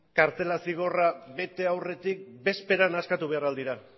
kartzela zigorra bete aurretik bezperan askatu behar al dira